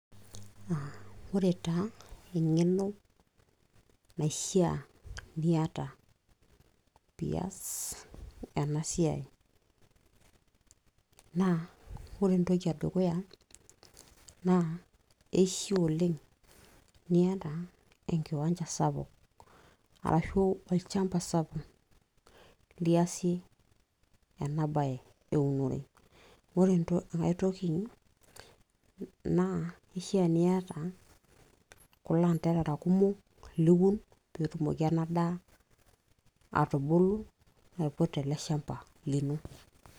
ore taa eng'eno naishia niata piiyas ena siai naa ore entoki e dukuya naa eishia oleng niata enkiwanja sapuk arashu olchamba sapuk liasie ena baye eunore ore aay toki naa ishaa niata kulo anterara kumok liun peetumoki ena daa atubulu aiputa ele shamba lino.